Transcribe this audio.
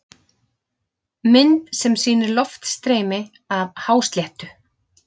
Mynd sem sýnir loftstreymi af hásléttu.